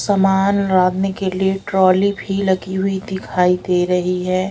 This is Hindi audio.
समान लादने के लिए ट्रॉली भीं लगी हुई दिखाई दे रहीं हैं।